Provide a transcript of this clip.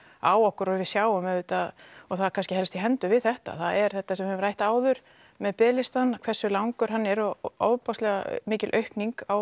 á okkur og við sjáum auðvitað og það kannski helst í hendur við þetta það er þetta sem við höfum rætt áður með biðlistann hversu langur hann er og ofboðslega mikil aukning